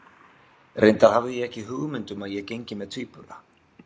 Reyndar hafði ég ekki hugmynd um að ég gengi með tvíbura.